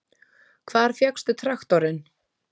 Hvar fékkstu traktorinn?